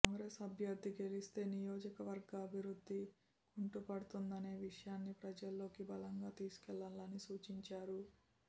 కాంగ్రెస్ అభ్యర్థి గెలిస్తే నియోజకవర్గ అభివృద్ధి కుంటుపడుతుందనే విషయాన్ని ప్రజల్లోకి బలంగా తీసుకెళ్లాలని సూచించారు